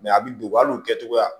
a bi don hali o kɛcogoya